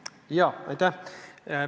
Jaa, aitäh!